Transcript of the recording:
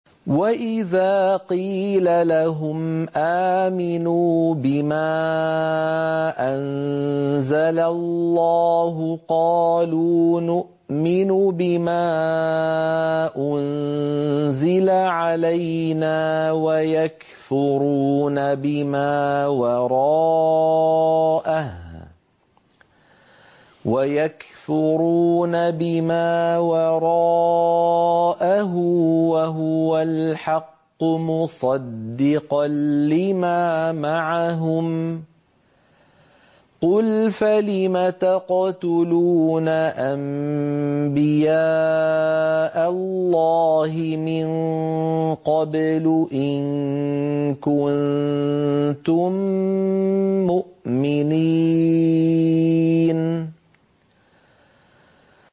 وَإِذَا قِيلَ لَهُمْ آمِنُوا بِمَا أَنزَلَ اللَّهُ قَالُوا نُؤْمِنُ بِمَا أُنزِلَ عَلَيْنَا وَيَكْفُرُونَ بِمَا وَرَاءَهُ وَهُوَ الْحَقُّ مُصَدِّقًا لِّمَا مَعَهُمْ ۗ قُلْ فَلِمَ تَقْتُلُونَ أَنبِيَاءَ اللَّهِ مِن قَبْلُ إِن كُنتُم مُّؤْمِنِينَ